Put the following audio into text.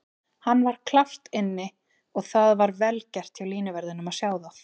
Hann var klárt inni og það var vel gert hjá línuverðinum að sjá það.